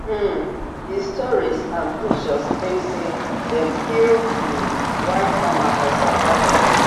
um di stories and pictures claim say dem kill um white farmers for south africa